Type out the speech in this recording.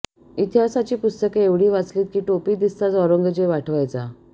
इतिहासाची पुस्तके एवढी वाचलीत की टोपी दिसताच औरंगजेब आठवायचा